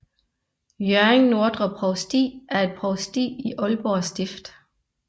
Hjørring Nordre Provsti er et provsti i Aalborg Stift